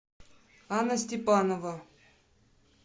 анна степанова